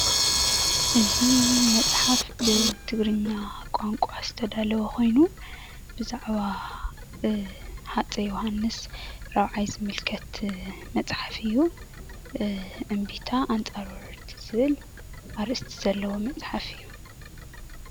እዚ መፅሓፍ ብትግርኛ ቋንቋ ዝተዳለወ ኮይኑ ብዛዕባ ሃፀይ ዮውሃንስ ራብዓይ ዝምልከት መፅሓፍ እዩ። እምቢታ ኣንፃር ወረርቲ ዝብል ኣርእስቲ ዘለዎ መፅሓፍ እዪ።